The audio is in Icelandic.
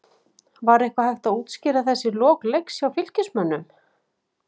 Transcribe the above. Var eitthvað hægt að útskýra þessi lok leiks hjá Fylkismönnum?